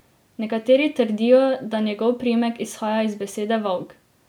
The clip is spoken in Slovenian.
Nekateri trdijo, da njegov priimek izhaja iz besede volk.